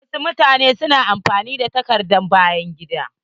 Wasu mutane na amfani da takardar bayan gida.